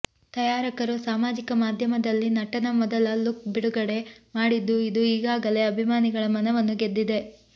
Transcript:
ತಯಾರಕರು ಸಾಮಾಜಿಕ ಮಾಧ್ಯಮದಲ್ಲಿ ನಟನ ಮೊದಲ ಲುಕ್ ಬಿಡುಗಡೆ ಮಾಡಿದ್ದು ಇದು ಈಗಾಗಲೇ ಅಭಿಮಾನಿಗಳ ಮನವನ್ನು ಗೆದ್ದಿದೆ